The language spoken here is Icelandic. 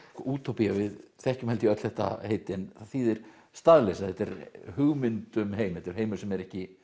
útópía við þekkjum öll þetta heiti en það þýðir staðleysa þetta er hugmynd um heim þetta er heimur sem er ekki